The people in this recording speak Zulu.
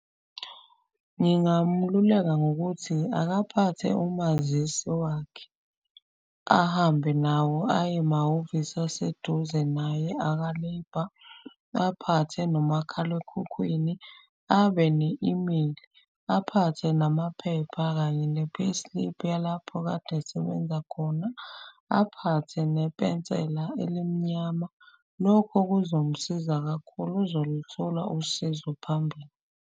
Ngingamululeka ngokuthi akaphathe umazisi wakhe. Ahambe nawo aye emahhovisi aseduze naye aka-Labour, aphathe nomakhalekhukhwini, abene-imeli. Aphathe namaphepha kanye ne-payslip yalapho kade esebenza khona, aphathe nepensela elimnyama. Lokho kuzomsiza kakhulu, uzoluthola usizo phambili.